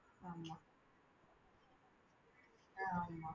ஆமா அஹ் ஆமா